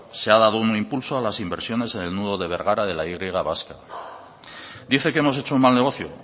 se ha dado un impulso a las inversiones en el nudo de bergara de la y vasca dice que hemos hecho un mal negocio